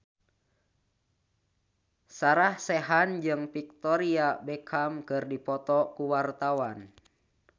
Sarah Sechan jeung Victoria Beckham keur dipoto ku wartawan